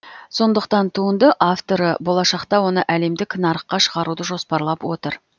соңдықтан туынды авторы болашақта оны әлемдік нарыққа шығаруды жоспарлап отыр